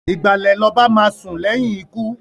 Ìgbàlè l'oba máá sùn léyìn ikú.